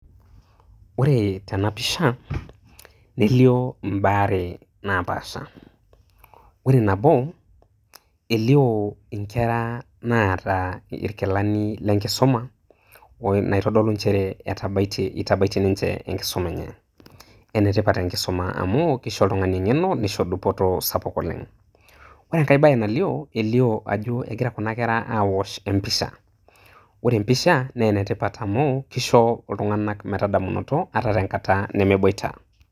Ore tenapisha nelio imbaa are naapasha , ore nabo elio inkera naata irkilani lenkisuma naitodolu nchere itabaitie ninche enkisuma enye . Enetipat enkisuma amu kisho oltungani engeno nisho oltungani dupoto sapuk oleng . Ore enkae bae nalio elio ajo egira kuna kera aosh empisha , ore empisha naa enetipat amu kisho iltunganak metadamunot ata tenkata nemeboita.